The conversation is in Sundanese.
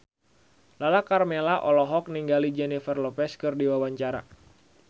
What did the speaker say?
Lala Karmela olohok ningali Jennifer Lopez keur diwawancara